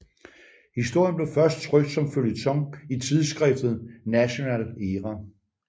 Historien blev først trykt som føljeton i tidsskriftet National Era